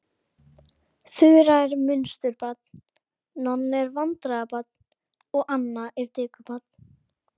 Þura er munsturbarn, Nonni er vandræðabarn og Anna er dekurbarn.